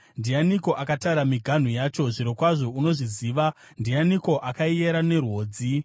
Ndianiko akatara miganhu yacho? Zvirokwazvo unozviziva! Ndianiko akaiyera nerwodzi?